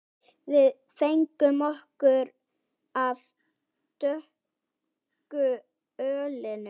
Við fengum okkur af dökku ölinu.